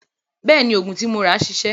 Bẹ́ẹ̀ni, òògùn tí mo rà ṣiṣẹ́.